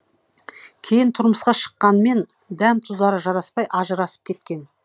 кейін тұрмысқа шыққанмен дәм тұздары жараспай ажырасып кеткен